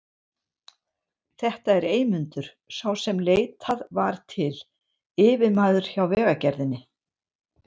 Þetta er Eymundur, sá sem leitað var til, yfirmaður hjá Vegagerðinni.